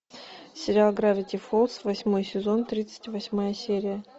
сериал гравити фолз восьмой сезон тридцать восьмая серия